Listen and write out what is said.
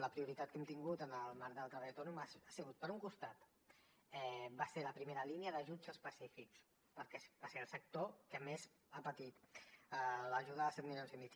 la prioritat que hem tingut en el marc del treball autònom ha sigut per un costat la primera línia d’ajuts específics perquè va ser el sector que més ha patit l’ajuda de set milions i mig